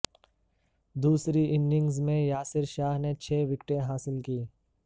دوسری اننگز میں یاسر شاہ نے چھ وکٹیں حاصل کیں